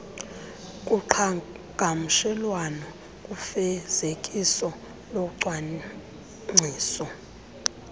kuqhagamshelwano kufezekiso locwangciso